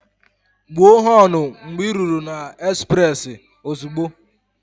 Gbuo họnụ mgbe ị ruru na ezprezị ozugbo!